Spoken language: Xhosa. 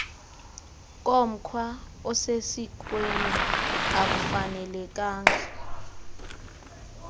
komkhwa osesikweni akufanelekanga